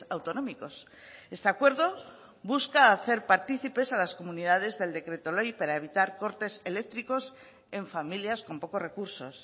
autonómicos este acuerdo busca hacer partícipes a las comunidades del decreto ley para evitar cortes eléctricos en familias con pocos recursos